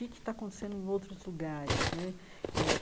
O que é que está acontecendo em outros lugares né? eh